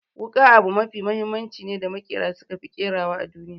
Wuƙa abu mafi mahimmanci ne da maƙera suka fi ƙerawa a duniya.